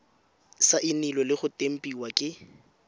saenilwe le go tempiwa ke